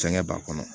Fɛngɛ b'a kɔnɔ